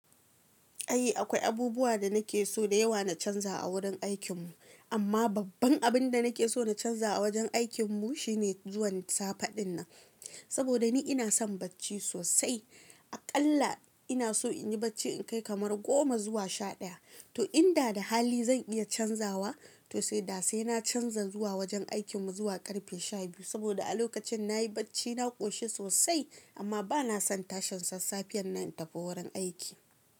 Ai akwai abubuwa da nake so da yawa na canza a wurin aikin mu amma babban abin da nake so na canza a wajen aikin mu shine zuwan safe din nan. Saboda ni ina son bacci sosai aƙalla ina so in yi bacci in kai kamar goma zuwa shaɗaya. To in da da hali zan iya canzawa to sai da sai na canza zuwa wajen aikin mu zuwa ƙarfe shabiyu saboda a lokacin nayi bacci na ƙoshi sosai amma bana son tashin sassafiyan nan na tafi wurin aiki.